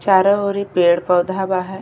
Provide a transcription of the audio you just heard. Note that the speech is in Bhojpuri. चारो और पेड़ पौधा बा हये।